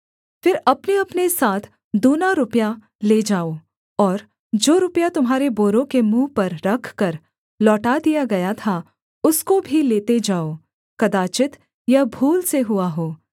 फिर अपनेअपने साथ दूना रुपया ले जाओ और जो रुपया तुम्हारे बोरों के मुँह पर रखकर लौटा दिया गया था उसको भी लेते जाओ कदाचित् यह भूल से हुआ हो